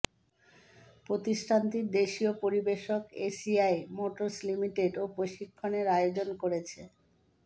প্রতিষ্ঠানটির দেশীয় পরিবেশক এসিআই মোটরস লিমিটেড এ প্রশিক্ষণের আয়োজন করেছে